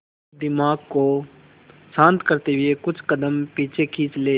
और दिमाग को शांत करते हुए कुछ कदम पीछे खींच लें